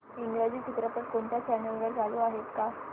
इंग्रजी चित्रपट कोणत्या चॅनल वर चालू आहे का